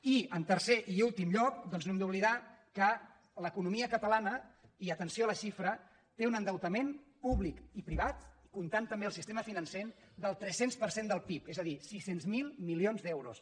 i en tercer i últim lloc doncs no hem d’oblidar que l’eco·nomia catalana i atenció a la xifra té un endeutament públic i privat comptant també el sistema financer del tres cents per cent del pib és a dir sis cents miler milions d’euros